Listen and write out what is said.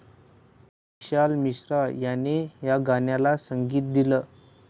विशाल मिश्रा याने या गाण्याला संगीत दिलं.